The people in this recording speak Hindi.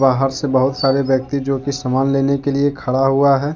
बाहर से बहुत सारे व्यक्ति जो की समान लेने के लिए खड़ा हुआ है।